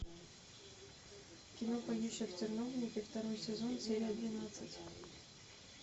кино поющие в терновнике второй сезон серия двенадцать